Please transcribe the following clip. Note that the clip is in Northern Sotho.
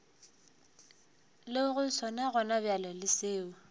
lego sona gonabjale le seo